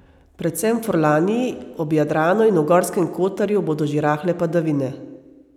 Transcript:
Predvsem v Furlaniji, ob Jadranu in v Gorskem Kotarju bodo že rahle padavine.